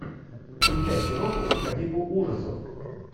включай киноху по типу ужасов